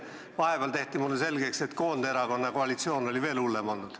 Vahepeal tehti mulle selgeks, et Koonderakonna koalitsioon olevat veel hullem olnud.